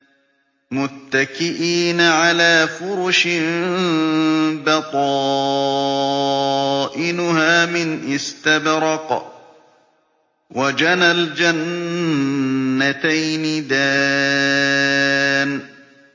مُتَّكِئِينَ عَلَىٰ فُرُشٍ بَطَائِنُهَا مِنْ إِسْتَبْرَقٍ ۚ وَجَنَى الْجَنَّتَيْنِ دَانٍ